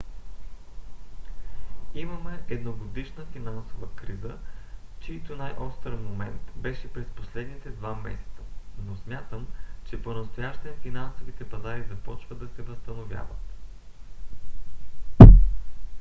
имаме едногодишна финансова криза чийто най-остър момент беше през последните два месеца но смятам че понастоящем финансовите пазари започват да се възстановяват.